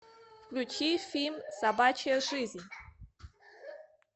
включи фильм собачья жизнь